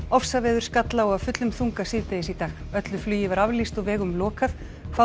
ofsaveður skall á af fullum þunga síðdegis í dag öllu flugi var aflýst og vegum lokað